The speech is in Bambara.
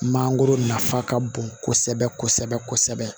Mangoro nafa ka bon kosɛbɛ kosɛbɛ